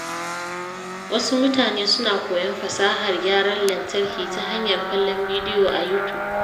Wasu mutane suna koyon fasahar gyaran lantarki ta hanyar kallon bidiyo a YouTube.